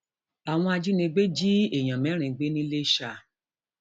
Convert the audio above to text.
àwọn ajínigbé jí èèyàn mẹrin gbé ńìlasa